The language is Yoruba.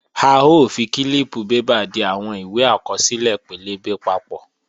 A ó fi kílíìpù bébà di àwọn ìwé àkọsílẹ̀ pẹlẹbẹ papọ̀